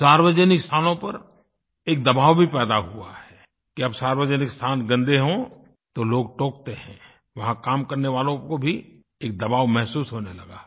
सार्वजनिक स्थानों पर एक दबाव भी पैदा हुआ है कि अब सार्वजनिक स्थान गंदे हों तो लोग टोकते हैं वहाँ काम करने वालों को भी एक दबाव महसूस होने लगा है